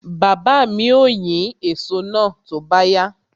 Baba mi ó yín èso náà tó bá yá.